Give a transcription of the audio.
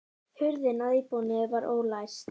Hurðin að íbúðinni var ólæst